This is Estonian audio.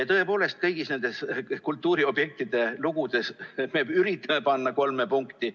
Tõepoolest, kõigi nende kultuuriobjektide lugudes me üritame panna kolme punkti.